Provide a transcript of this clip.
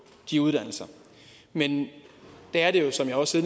de uddannelser men der er det jo som jeg også